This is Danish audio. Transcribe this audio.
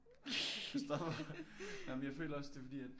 Christopher amen jeg føler også det er fordi at